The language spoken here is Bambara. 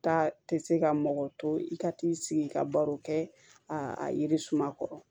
Taa tɛ se ka mɔgɔ to i ka t'i sigi i ka baro kɛ a yiri suma kɔrɔ